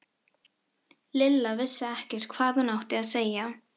Lilla vissi ekkert hvað hún átti að segja.